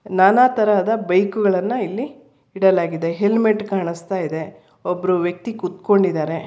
ನಾನಾ ತರಹದ ಬೈಕ್ ಗಳನ್ನು ಇಲ್ಲಿ ಇಡಲಾಗಿದೆ ಹೆಲ್ಮೆಟ್ ಕಾಣಿಸ್ತಾ ಇದೆ ಒಬ್ಬರು ವ್ಯಕ್ತಿ ಕುಂತ್ಕೊಂಡಿದ್ದಾರೆ.